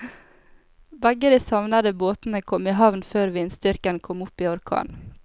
Begge de savnede båtene kom i havn før vindstyrken kom opp i orkan.